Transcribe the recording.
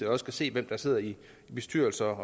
også kan se hvem der sidder i bestyrelse